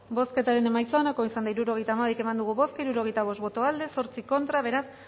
bozketaren emaitza onako izan da hirurogeita hamairu eman dugu bozka hirurogeita bost boto aldekoa ocho contra beraz